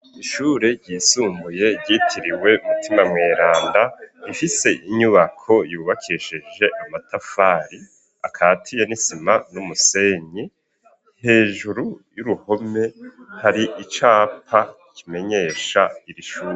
Ishure ryisumbuye ryitiriwe umutima mweranda ifise inyubako yubakeshije amatafari akatiye nisima n'umusenyi hejuru y'uruhome hari icapa kimenyesha iri shuri.